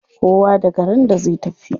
Kowa da garin da zai tafi.